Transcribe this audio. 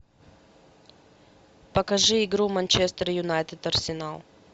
покажи игру манчестер юнайтед арсенал